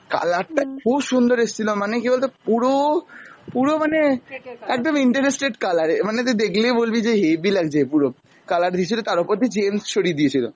color টা খুব সুন্দর এসছিল মানে কী বলতো পুরো, পুরো মানে একদম interested color মানে তুই দেখলেই বলবি যে হেবি লাগছে পুরো, color দিয়েছিল তার ওপর দিয়ে জেমস ছড়িয়ে দিয়েছিল।